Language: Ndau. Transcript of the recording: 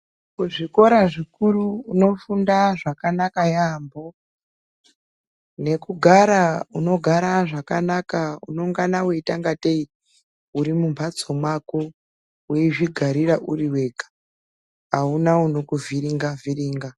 Kuzvikora zvikuru unofunda zvakanaka yaambho nekugara unogara zvakanaka unongana weiita ungatei uri mumbhatso mako weizvigarira uriwega auna unokuvhiringa vhiringa.